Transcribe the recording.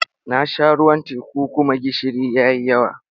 Na sha ruwan teku kuma gishiri ya yi yawa.